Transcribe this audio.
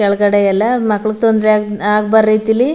ಕೆಳಗಡೆ ಎಲ್ಲ ಮಕ್ಕಳಿಗೆ ತೊಂದ್ರೆ ಆಗ್ಬರ್ದ್ ರೀತಿಲಿ--